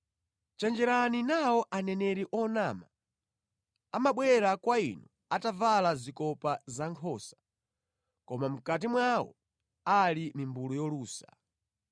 “Chenjerani nawo aneneri onyenga. Amabwera kwa inu atavala zikopa zankhosa, koma mʼkati mwawo ali mimbulu yolusa.